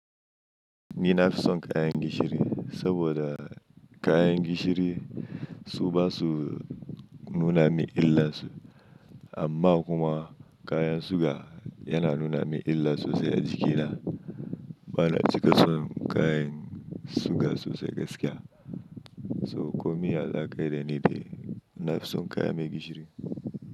Ni na fi son kayan gishiri saboda, kayan gishiri su ba su nuna min illar su amma kuma, kayan suga yana nuna min illa sosai a jikina. Ba na cika son kayan, suga sosai gaskiya. So komi a zaƙai da ni dai, na fi son kayan mai gishiri.